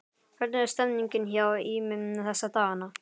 Hvernig er stemmningin hjá Ými þessa dagana?